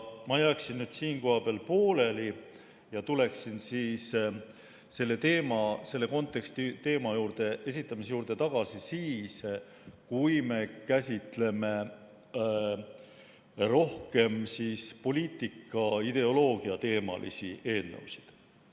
Ma jätaksin siinkohal jutu pooleli ja tuleksin selle konteksti esitamise juurde tagasi siis, kui me käsitleme rohkem poliitika ideoloogia teemalisi eelnõusid.